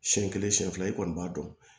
Siɲɛ kelen siɲɛ fila i kɔni b'a dɔn